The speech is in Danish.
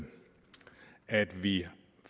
at vi